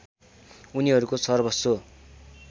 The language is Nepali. उनीहरूको सर्वस्व